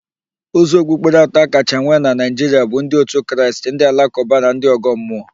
Ụzọ okpukpere atọ akacha nwee na Naịjiria bụ ndị otu Kraịst, ndị Alakụba na ndị Ọ̀gọ́ mmụọ